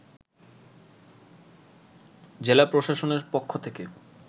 জেলা প্রসাশনের পক্ষ থেকে